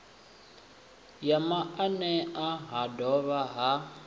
ya maanea ha dovha ha